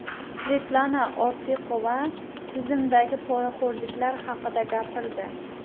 Svetlana Ortiqova tizimdagi poraxo‘rliklar haqida gapirdi.